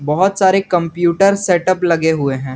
बहुत सारे computer setup लगे हुए है।